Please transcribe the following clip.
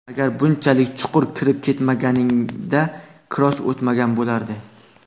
Agar bunchalik chuqur kirib ketmaganingda, kross o‘tmagan bo‘lardi”.